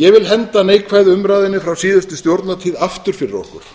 ég vil henda neikvæðu umræðunni frá síðustu stjórnartíð aftur fyrir okkur